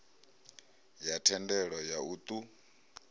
ya thendelo ya u ṱun